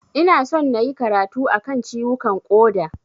Ina son nayi karatu a kan ciwukan ƙoda.